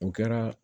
O kɛra